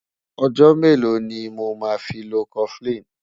ọ̀jò mélò ní mọ má fí ló koflin?